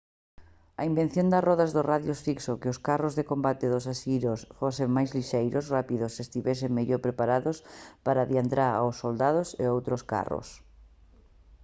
a invención das rodas de radios fixo que os carros de combate dos asirios fosen máis lixeiros rápidos e estivesen mellor preparados para adiantar aos soldados e outros carros